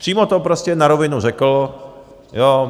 Přímo to prostě na rovinu řekl.